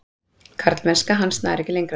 Karlmennska hans nær ekki lengra.